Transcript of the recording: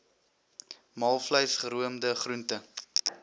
maalvleis geroomde groente